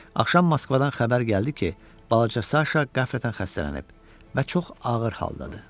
Axşam Moskvadan xəbər gəldi ki, balaca Saşa qəflətən xəstələnib və çox ağır haldadır.